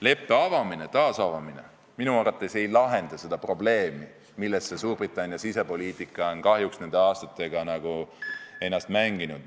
Leppe taasavamine minu arvates ei lahenda seda probleemi, millesse Suurbritannia sisepoliitika on kahjuks nende aastatega ennast mänginud.